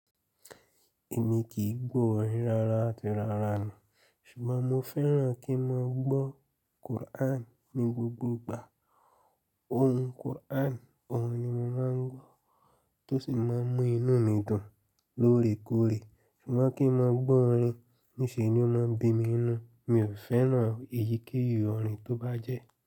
Èmi kì í gbọ́ orin rárá àti rárá ni, ṣùgbọ́n mo fẹ́ràn kí n máa gbọ́ Quran ní gbogbo ìgbà. Ohùn Quran oun ni mo maa n gbo to si maa mu inu mi dun l'oore koore. Ṣùgbọ́n kí n máa gbọ́ orin, ní ṣe ni ó máa ń bí mi inú. Mi ò fẹ́ràn èyí kíyì orin tó bá jẹ́